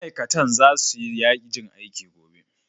Ma'aikatan za su yi yajin aiki gobe.